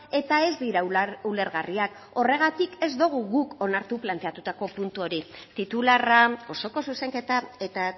eta ez dira ulergarriak horregatik ez dugu guk onartu planteatutako puntu hori titularra osoko zuzenketa eta